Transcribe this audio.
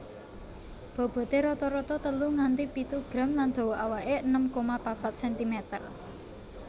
Boboté rata rata telu nganti pitu gram lan dawa awake enem koma papat sentimeter